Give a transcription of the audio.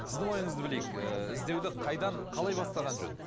сіздің ойыңызды білейік ыыы іздеуді қайдан қалай бастаған жөн